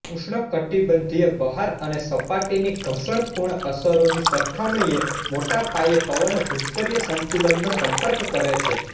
ઉષ્ણકટિબંધીય બહાર અને સપાટીની ઘર્ષણપૂર્ણ અસરોની સરખામણીએ મોટા પાયે પવનો ભૂસ્તરીય સંતુલનનો સંપર્ક કરે છે